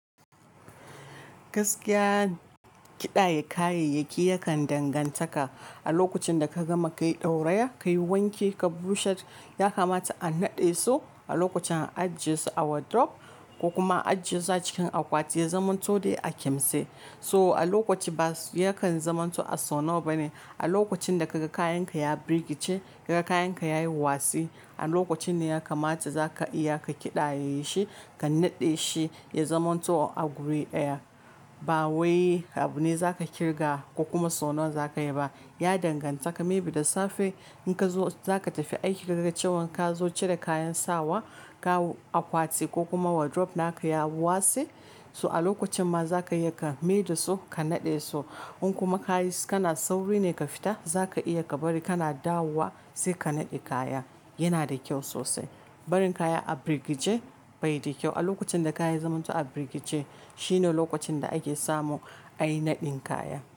Gaskiya kiɗaya kayayyaki yakan danganta ka a lokacin da ka gama ka yi ɗauraya, ka yi wanki ka busher, ya kamata a naɗe su a lokacin a ajiye su a wardrobe ko kuma ajiye su a cikin akwati ya zamanto dai a kimse. So a lokaci ba yakan zamanto a sau nawa ba ne. A lokacin da kaga kayan ka ya birgice, kaga kayan ka ya yi wasi, a lokacin ne ya kamata za ka iya ka kiɗa ye yi shi ka naɗe shi ya zamanto a guri ɗaya. Ba wai abu ne za ka kirga ko kuma sau nawa za ka yi ba. Ya danganta ka. Maybe da safe in ka zo za ka tafi aiki ka ga cewan ka zo cire kayan sawa ka akwati ko kuma wardrobe naka ya watse. To a lokacin ma za ka iya ka maida su ka naɗe su. In kuma ka yi kana sauri ne ka fita, za ka iya ka bari kana dawowa sai ka naɗe kaya. Yana da kyau sosai. Barin kaya a birgice bai da kyau. A lokacin da kaya ya zamanto a birgice shine lokacin da ake samu a yi naɗin kaya.